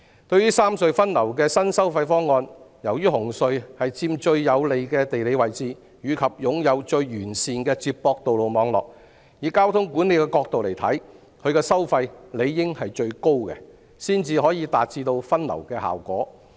對於三隧分流的新收費方案，由於紅隧佔最有利的地理位置，亦擁有最完善的接駁道路網絡，以交通管理角度而言，它的收費理應最高，才可達致分流效果。